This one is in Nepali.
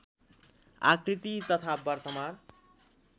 आकृति तथा वर्तमान